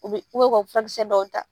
U bɛ u ka fura kisɛ dɔw ta.